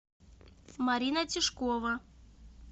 марина тишкова